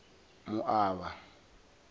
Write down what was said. moaba